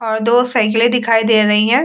और दो साइकिले दिखाई दे रही है।